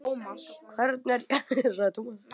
Hvern er ég að fá?